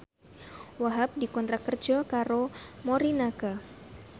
Wahhab dikontrak kerja karo Morinaga